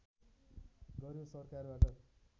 गर्‍यो सरकारबाट